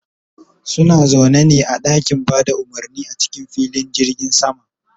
suna zaune ne a ɗakin Bada umurni a cikin filin jirgin sama